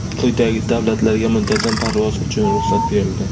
Quyidagi davlatlarga muntazam parvoz uchun ruxsat berildi:.